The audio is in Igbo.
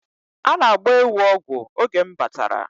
A na-agba ewu ọgwụ oge m batara